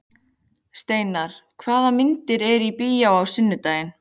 Steinar, hvaða myndir eru í bíó á sunnudaginn?